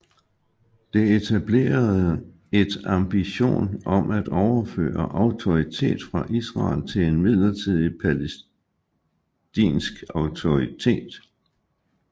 Det etablerede et ambition om at overføre autoritet fra Israel til en midlertidig palæstinsk autoritet